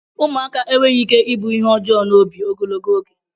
Ụmụaka enweghị ike ịbụ ihe ọjọọ n'obi ogologo oge